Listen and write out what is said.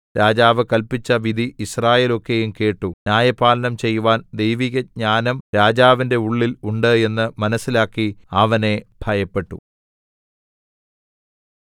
രാജാവ് കല്പിച്ച വിധി യിസ്രായേൽ ഒക്കെയും കേട്ടു ന്യായപാലനം ചെയ്‌വാൻ ദൈവികജ്ഞാനം രാജാവിന്റെ ഉള്ളിൽ ഉണ്ട് എന്ന് മനസ്സിലാക്കി അവനെ ഭയപ്പെട്ടു